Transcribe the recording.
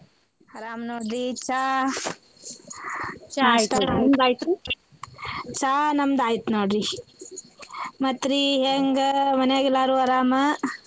ಅರಾಮ್ ನೋಡ್ರಿ ಚಾ? ಚಾ ನಮ್ದಾಯಿತ್ ನೋಡ್ರಿ ಮತ್ತ್ ರೀ ಹೆಂಗ ಮನ್ಯಾಗ ಎಲ್ಲರೂ ಅರಾಮ್?